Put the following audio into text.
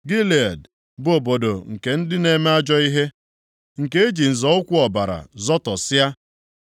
Gilead bụ obodo nke ndị na-eme ajọ ihe, nke eji nzọ ụkwụ ọbara zọtọsịa.